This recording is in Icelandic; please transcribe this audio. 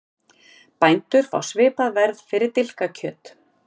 Bændur fá svipað verð fyrir dilkakjöt